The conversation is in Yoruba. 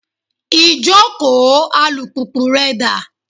Ìjókòó alùpùpù rẹ dà?